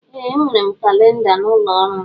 Ee enwere m kalinda n'ụlọ ọrụ m.